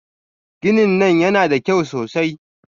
Ginin nan yana da kyau sosai.